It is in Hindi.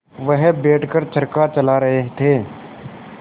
वह बैठ कर चरखा चला रहे थे